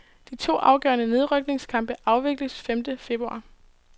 De to afgørende nedrykningskampe afvikles femte februar.